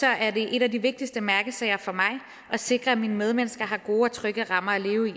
er en af de vigtigste mærkesager for mig at sikre at mine medmennesker har gode og trygge rammer at leve i